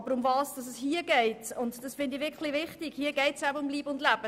Aber hier geht es durchaus um Leib und Leben.